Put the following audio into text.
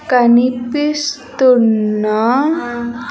కనిపిస్తున్న.